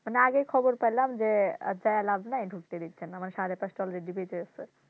মানে আগেই খবর পাইলাম যে যেয়ে আর লাভ নেই ঢুকতে দিচ্ছে না মানে সাড়ে পাঁচটা already বেজে গেছে।